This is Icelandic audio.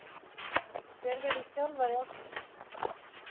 Hver verður þjálfari ársins